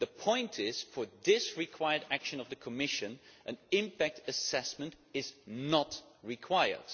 the point is, for this required action of the Commission, an impact assessment is not required.